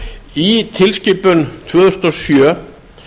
í tilskipun tvö þúsund og sjö